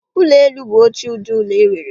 Ụlọ elu bụ otu ụdị ụlọ e nwere